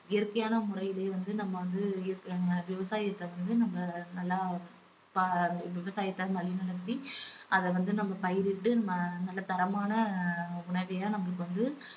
இயற்கையான முறையிலே வந்து நம்ம வந்து இயற்கை~ விவசாயத்தை வந்து நம்ம நல்லா பா~ விவசாயத்தை வழி நடத்தி அத வந்து நம்ம பயிரிட்டு ம~ நல்ல தரமான உணவா நமக்கு வந்து